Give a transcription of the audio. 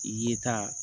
I ye taa